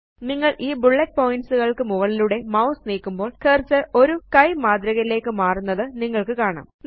നിങ്ങള് ഈ bullet points കള്ക്ക് മുകളിലൂടെ മൌസ് നീക്കുമ്പോള് കർസർ ഒരു കൈ മാതൃകയിലേയ്ക്ക് മാറുന്നത് നിങ്ങള്ക്ക് കാണാം